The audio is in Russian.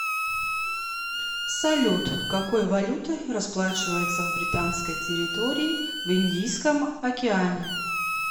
салют какой валютой расплачиваются в британской территории в индийском океане